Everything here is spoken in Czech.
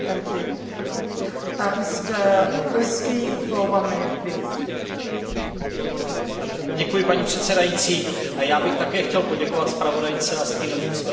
Paní předsedající, já bych také chtěl poděkovat zpravodajce a stínovým zpravodajům za výborně odvedenou práci Všichni víme, že farmaceutický průmysl je obrovský byznys.